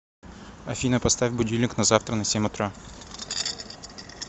афина поставь будильник на завтра на семь утра